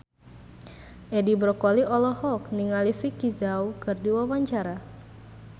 Edi Brokoli olohok ningali Vicki Zao keur diwawancara